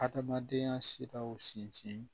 Adamadenya siraw sinsin